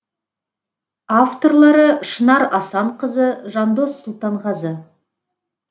авторлары шынар асанқызы жандос сұлтанғазы